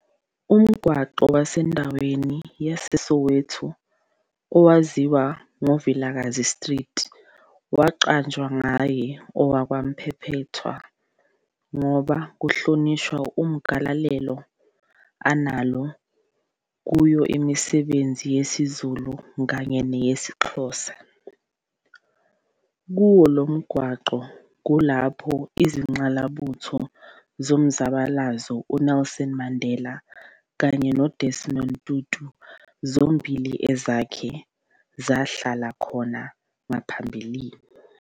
Umgwaqo osendwaweni yaseSoweto owaziwa ngoVilakazi Street waqanjwa ngaye okaMphephethwa ngoba kuhlonishwa igalelelo analo kuyo umisebenzi yesiZulu kanye nesiXhosa. Kuwo lomgwaqo kulapho izingqalabutho zomzabalabalaozo uNelson Mandela kanye noDesmond Tutu zombili ezake zahlala khona ngaphambilini.